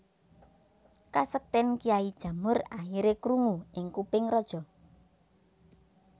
Kasekten Kyai Jamur akhire krungu ing kuping raja